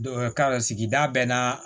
ka sigida bɛɛ n'a